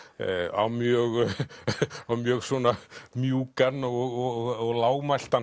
á mjög á mjög svona mjúkan og